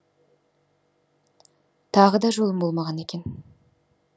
тағы да жолым болмаған екен